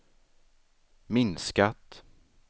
minskat